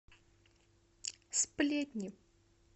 сплетни